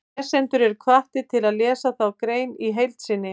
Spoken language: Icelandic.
Lesendur eru hvattir til að lesa þá grein í heild sinni.